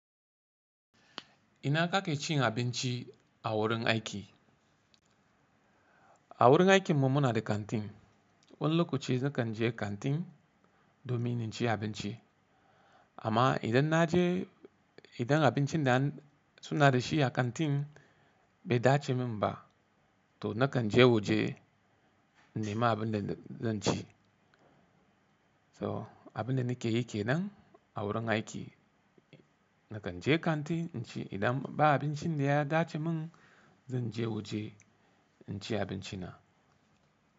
Ina kake cin abinci a wurin aiki? A wurin aikinmu muna da kanti, wan lokaci nakan je kanti domin in ci abinci. Amma idan na je, idan abincin da sun na da shi a kanti bai dace min ba, to nakan je waje nema abin da zan ci. So abin da nake yi ke nan a wurin aiki, nakan je kanti in ci idan ba abincin da ya dace mun, zan je waje in ci abinci na.